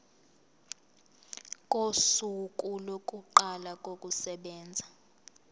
kosuku lokuqala kokusebenza